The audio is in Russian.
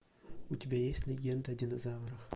у тебя есть легенда о динозаврах